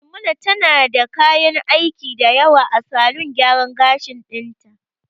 Maimuna tana da kayan aiki dayawa a salon gyara gashin ɗin ta